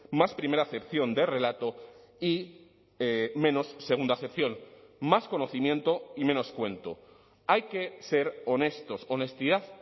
más primera acepción de relato y menos segunda acepción más conocimiento y menos cuento hay que ser honestos honestidad